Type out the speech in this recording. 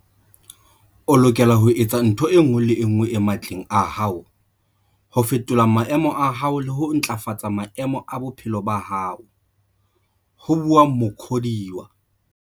O lokela ho etsa ntho e nngwe le e nngwe e matleng a hao ho fetola maemo a hao le ho ntlafatsa maemo a bophelo ba hao, ho bua Muk hodiwa.